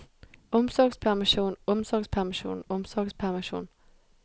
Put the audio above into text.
omsorgspermisjon omsorgspermisjon omsorgspermisjon